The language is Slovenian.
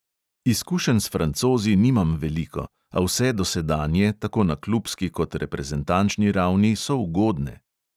Izkušenj s francozi nimam veliko, a vse dosedanje, tako na klubski kot reprezentačni ravni, so ugodne.